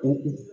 O